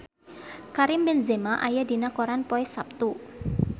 Karim Benzema aya dina koran poe Saptu